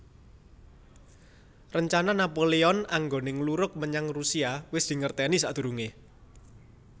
Rencana Napoleon anggoné ngluruk menyang Rusia wis dingertèni sakdurungé